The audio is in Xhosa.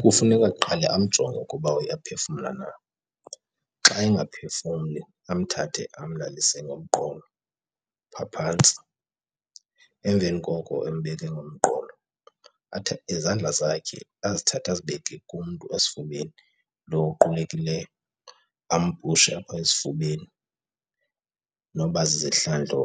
Kufuneka kuqala amjonge ukuba uyaphefumla na. Xa engaphefumli amthathe amlalise ngomqolo phaa phantsi. Emveni koko embeke ngomqolo, izandla zakhe azithathe azibeke kumntu esifubeni lo uqulekileyo, ampushe apha esifubeni noba zizihlandlo